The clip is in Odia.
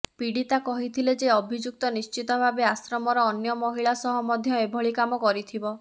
ପୀଡିତା କହିଥିଲେ ଯେ ଅଭିଯୁକ୍ତ ନିଶ୍ଚିତ ଭାବେ ଆଶ୍ରମର ଅନ୍ୟ ମହିଳା ସହ ମଧ୍ୟ ଏଭଳି କାମ କରିଥିବ